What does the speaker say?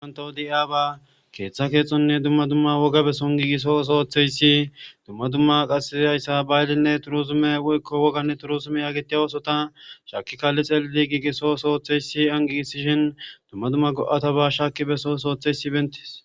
ganto deiya ba keeththa keexonne dumma dumma woga beson giigiso sootheyssi dumma dumma qasayssa baylinne turuzume woykko woganne turuzume yaagetiya oosota shaakki kalli xelli giigiso sootheyssi angigisishin dumma dumma go7ata ba shaaki beso sootheysi bentis